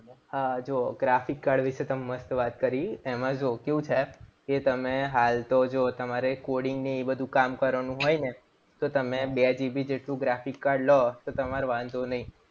હા જો graphic card વિશે તમે મસ્ત વાત કરી. એમાં જો કેવું છે એ તમે હાલ તો જો તમારે coding એ બધું કામ કરવાનું હોય ને તો તમે બે GB જેટલું graphic card લો તો તમાર વાંધો નહીં.